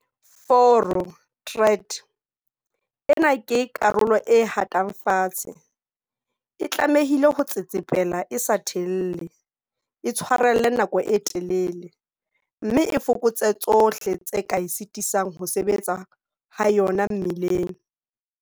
Foro tread ena ke karolo e hatang fatshe. E tlamehile ho tsetsepela e sa thelle, e tshwarelle nako e telele, mme e fokotse tsohle tse ka e sitisang ho sebetseng ha yona mmileng.